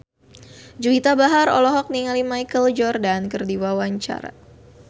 Juwita Bahar olohok ningali Michael Jordan keur diwawancara